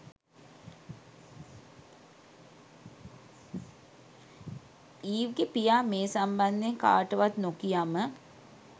Eve ගෙ පියා මේ සම්බන්ධයෙන් කාටවත් නොකියම